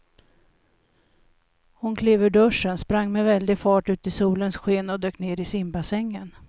Hon klev ur duschen, sprang med väldig fart ut i solens sken och dök ner i simbassängen.